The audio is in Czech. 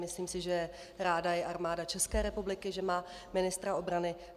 Myslím si, že ráda je Armáda České republiky, že má ministra obrany.